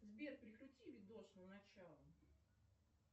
сбер перекрути видос на начало